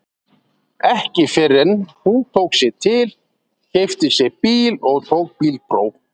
Ekki fyrr en hún tók sig til, keypti sér bíl og tók bílpróf.